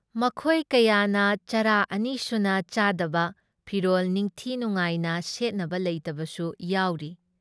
ꯃꯈꯣꯏ ꯀꯌꯥꯅ ꯆꯔꯥ ꯑꯅꯤꯁꯨꯅ ꯆꯥꯗꯕ ꯐꯤꯔꯣꯜ ꯅꯤꯡꯊꯤ ꯅꯨꯡꯉꯥꯏꯅ ꯁꯦꯠꯅꯕ ꯂꯩꯇꯕꯁꯨ ꯌꯥꯎꯔꯤ ꯫